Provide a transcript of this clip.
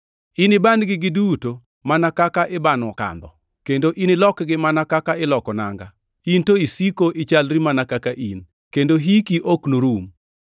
Iniban-gi giduto mana kaka ibano kandho, kendo inilokgi mana kaka iloko nanga. In to isiko ichalri mana kaka in, kendo hiki ok norum.” + 1:12 \+xt Zab 102:25-27\+xt*